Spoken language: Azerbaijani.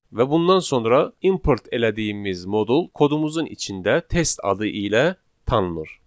Və bundan sonra import elədiyimiz modul kodumuzun içində test adı ilə tanınır.